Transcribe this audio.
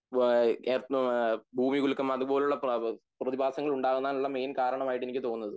വാ.. എ. മ്മാ.. ഭൂമികുലുക്കം അതുപോലുള്ള പ്ലേബബ് പ്രതിഭാസങ്ങൾ ഉങ്ങാകാൻ ഉള്ള മെയിൻ കാരണങ്ങൾ ആയിട്ട് എനിക്ക് തോന്നുന്നത്